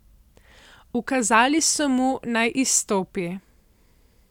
Ukazali so mu, naj izstopi.